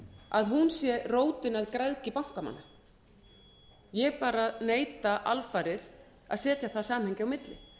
að hún sé rótin að græðgi bankamanna ég bara neita alfarið að setja þar samhengi á milli